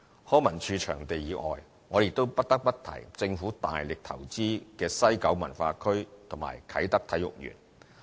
康文署場地以外，我亦不得不提政府大力投資的西九文化區與啟德體育園。